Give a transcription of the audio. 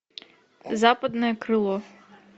западное крыло